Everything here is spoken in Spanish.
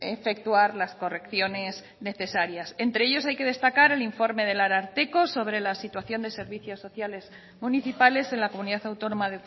efectuar las correcciones necesarias entre ellos hay que destacar el informe del ararteko sobre la situación de servicios sociales municipales en la comunidad autónoma